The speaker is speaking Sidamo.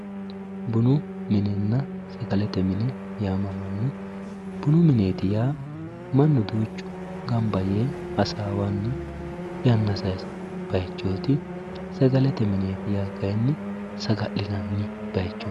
bunu minenna sagalete mineeti yaamamanno bunu mineeti yaa mannu duuchu gamba yee hasaawanni yanna sayiisanno bayiichoti sagalete mineeti yaa kayiinni saga'linanni bayiichooti.